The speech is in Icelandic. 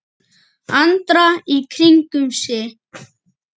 Andra í kringum sig.